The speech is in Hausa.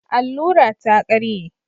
Allura ta ƙarye